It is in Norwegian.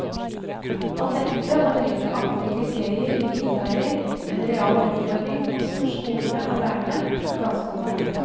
At dette og en rekke andre kriterier innebærer en real utfordring også for skolene og lærerne, er ganske opplagt.